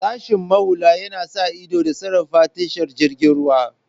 Sashen muhalli yana sa ido da sarrafa tashar jiragen ruwa.